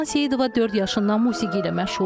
Ləman Seyidova dörd yaşından musiqi ilə məşğuldur.